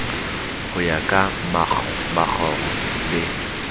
ho ya ka makgoro le